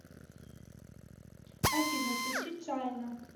афина включи чайна